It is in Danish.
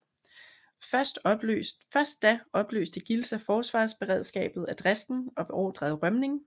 Først da opløste Gilsa forsvarsberedskabet af Dresden og beordrede rømning